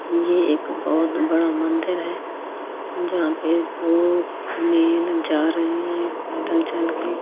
ये एक बहुत बड़ा मंदिर है जहाँ पे दो मेल जा रहे है पैदल चल के ।